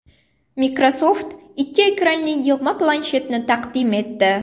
Microsoft ikki ekranli yig‘ma planshetni taqdim etdi .